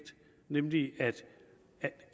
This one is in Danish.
nemlig at